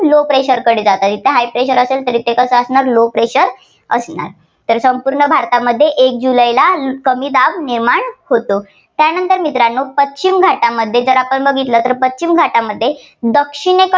low pressure कडे जाते. आणि त्या high pressure असेल तर ते कसं असणार ते low pressure असणार. तर संपूर्ण भारतामध्ये एक जुलैला कमी दाब निर्माण होतो. त्यानंतर मित्रांनो पश्चिम घाटामध्ये जर आपण बघितलं तर पश्चिम घाटामध्ये दक्षिणे~